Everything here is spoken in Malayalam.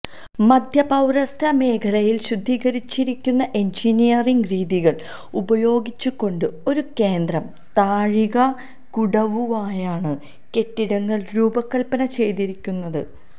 മധ്യപൌരസ്ത്യ മേഖലയിൽ ശുദ്ധീകരിച്ചിരിക്കുന്ന എൻജിനീയറിംഗ് രീതികൾ ഉപയോഗിച്ചുകൊണ്ട് ഒരു കേന്ദ്ര താഴികക്കുടവുമായാണ് കെട്ടിടങ്ങൾ രൂപകൽപ്പന ചെയ്തിരിക്കുന്നത്